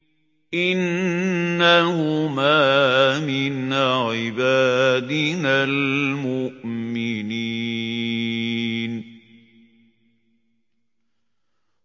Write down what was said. إِنَّهُمَا مِنْ عِبَادِنَا الْمُؤْمِنِينَ